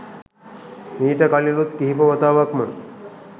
මීට කලිනුත් කිහිප වතාවක්ම